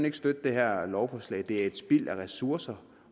ikke støtte det her lovforslag det er et spild af ressourcer